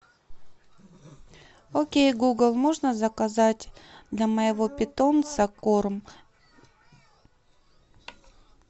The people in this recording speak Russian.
окей гугл можно заказать для моего питомца корм